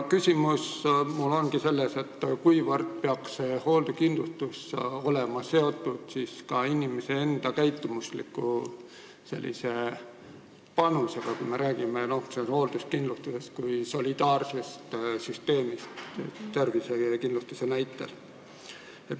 Küsimus ongi mul see, kuivõrd peaks hoolduskindlustus olema seotud inimese enda käitumusliku panusega, kui me räägime hoolduskindlustusest kui solidaarsest süsteemist tervisekindlustuse näitel.